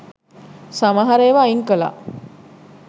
සමහර ඒවා අයින් කළා.